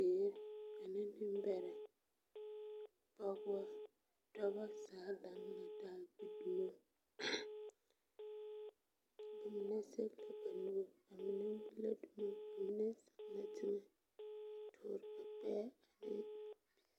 Bibiiri ane bombɛrɛ pɔgeba dɔba zaa laŋ la taa gbi dumo ba mine zage la ba nuuri ba mine gbi la dumo ba mine zeŋ la teŋɛ a duore ba gbɛɛ a eŋ.